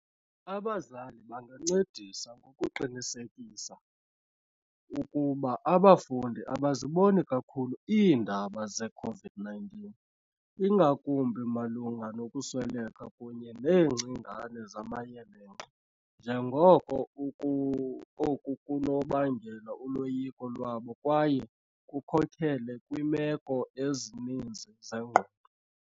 Abazali bangancedisa ngokuqinisekisa ukuba abafundi abaziboni kakhulu iindaba ze-COVID-19, ingakumbi malunga nokusweleka kunye neengcingane zamayelenqe, njengoko oku kunokubangela uloyiko lwabo kwaye kukhokelele kwiimeko ezininzi zengqondo.